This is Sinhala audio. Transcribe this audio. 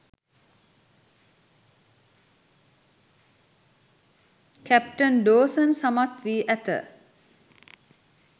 කැප්ටන් ඩෝසන් සමත් වී ඇත